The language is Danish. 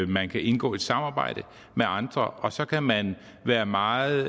man kan indgå et samarbejde med andre og så kan man være meget